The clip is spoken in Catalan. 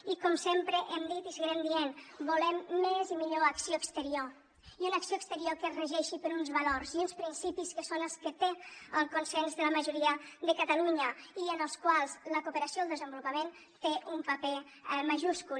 i com sempre hem dit i seguirem dient volem més i millor acció exterior i una acció exterior que es regeixi per uns valors i uns principis que són els que tenen el consens de la majoria de catalunya i en els quals la cooperació al desenvolupament té un paper majúscul